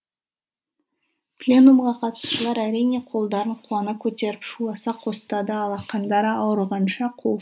пленумға қатысушылар әрине қолдарын қуана көтеріп шуласа қостады алақандары ауырғанша қол